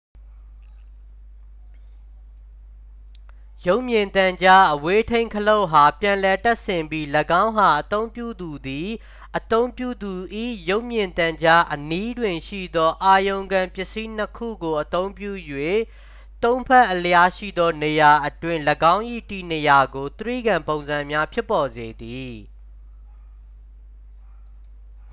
ရုပ်မြင်သံကြား အဝေးထိန်းခလုတ်အား ပြန်လည်တပ်ဆင်ပြီး ၎င်းအား အသုံးပြုသူသည် အသုံးပြုသူ၏ ရုပ်မြင်သံကြားအနီးတွင်ရှိသော အာရုံခံပစ္စည်း နှစ် ခုကို အသုံးပြု၍ သုံး ဖက်အလျားရှိသောနေရာအတွင်း ၎င်း၏ တည်နေရာကို တြိဂံပုံစံများဖြစ်ပေါ်စေသည်